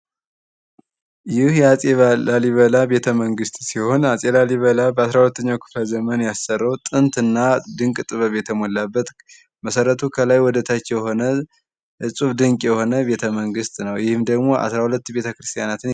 ይህ የአጼ ላሊበላ ቤተመንግሥት ሲሆን አጼ ላሊበላ በ12ኛው ክፍለ ዘመን ያሰሩት ጥንትና ድንቅ የተሞላበት መሠረቱ ከላይ ወደታች የሆነ እጹብ ድንቅ የሆነ ቤተመንግሥት ነው። ይህም ደግሞ 12 ቤተክርስቲያናትን የያዘ።